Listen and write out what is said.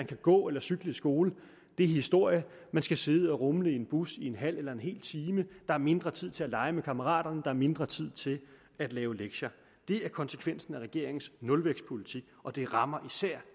kunne gå eller cykle i skole er historie de skal sidde og rumle i en bus i en halv eller hel time der er mindre tid til at lege med kammeraterne og der er mindre tid til at lave lektier det er konsekvensen af regeringens nulvækstpolitik og det rammer især